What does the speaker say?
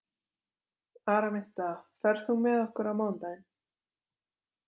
Araminta, ferð þú með okkur á mánudaginn?